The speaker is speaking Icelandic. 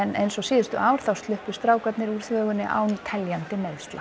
eins og síðustu ár sluppu strákarnir úr þvögunni án teljandi meiðsla